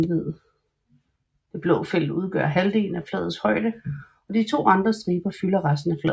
Det blå felt udgør halvdelen af flagets højde og de to andre striber fylder resten af flaget